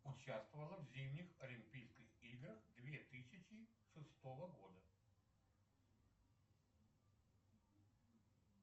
участвовала в зимних олимпийских играх две тысячи шестого года